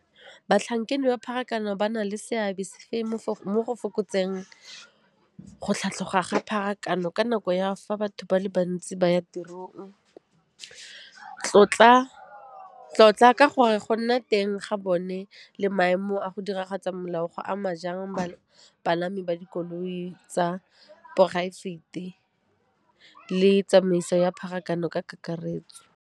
Batlhankedi ba pharakano ba na le seabe sefeng mo go fokotseng go tlhatlhoga ga pharakano ka nako ya fa batho ba le bantsi ba ya tirong? Tlotla ka gore go nna teng ga bone le maemo a go diragatsa molao, go ama ba dikoloi tsa poraefete le tsamaiso ya pharakano ka kakaretso.